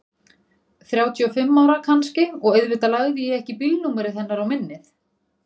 Þrjátíu og fimm ára kannski og auðvitað lagði ég ekki bílnúmerið hennar á minnið.